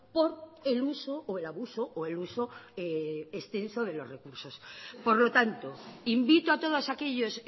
por el uso o el abuso o el uso extenso de los recursos por lo tanto invito a todos aquellos